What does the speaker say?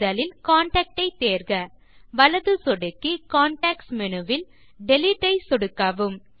முதலில் கான்டாக்ட் ஐ தேர்க வலது சொடுக்கி கான்டெக்ஸ்ட் மேனு வில் டிலீட் ஐ சொடுக்கவும்